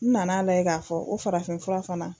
Nana lajɛ k'a fɔ o farafinfura fana